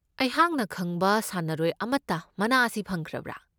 ꯑꯩꯍꯥꯛꯅ ꯈꯪꯕ ꯁꯥꯟꯅꯔꯣꯏ ꯑꯃꯠꯇ ꯃꯅꯥ ꯑꯁꯤ ꯐꯪꯈ꯭ꯔꯕꯥ?